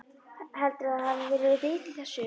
Heldurðu að það hafi verið vit í þessu?